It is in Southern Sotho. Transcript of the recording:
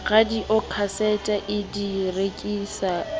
radiokhasete a di rekise a